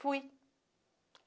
Fui.